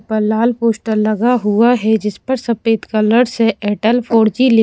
पर लाल पोस्टर लगा हुआ है जिस पर सफेद कलर से एयरटेल फोर जी लि--